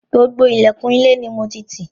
Gbogbo ilẹ̀kùn ilé ni mo ti tì.